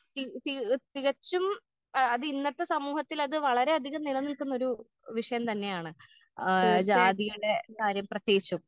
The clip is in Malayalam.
തി തി തികച്ചും ആ അതിന്നത്തെ സമൂഹത്തിലത് വളരെയധികം നിലനിൽക്കുന്നൊരു വിഷയം തന്നെയാണ് ആ ജാതിയുടെ കാര്യം പ്രത്യേകിച്ചും.